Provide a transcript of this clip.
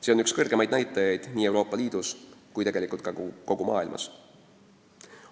See on üks kõrgemaid näitajaid nii Euroopa Liidus kui kogu maailmas.